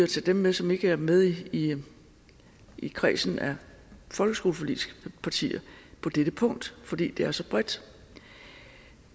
tage dem med som ikke er med i i kredsen af folkeskoleforligspartier på dette punkt for det er så bredt